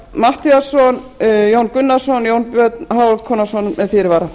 matthíasson jón gunnarsson og jón björn hákonarson með fyrirvara